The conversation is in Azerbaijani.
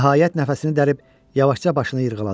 Nəhayət, nəfəsini dərib yavaşca başını yırğaladı.